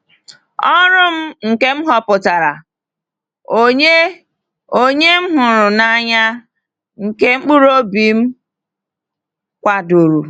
Ọrụ m nke m họpụtara, onye onye m hụrụ n’anya, nke mkpụrụ obi m kwadoro!